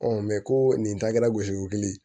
ko nin takɛla gosi weele